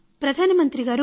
ప్రధాన మంత్రి గారు